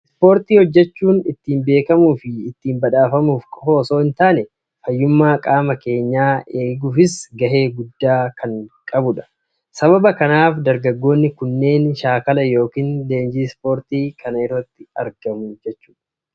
Ispoortii hojjechuun ittiin beekamuu fi ittiin badhaafamuuf qofaa osoo hin taane, fayyummaa qaama keenyaa iddootti eeguufis gahee guddaa kan taphatudha. Sababa kanaaf dargaggoonni kunneen shaakala yookiin leenjii ispoortii kana irratti argamu.